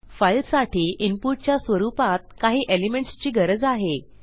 फाईलसाठी इनपुटच्या स्वरूपात काही एलिमेंट्स ची गरज आहे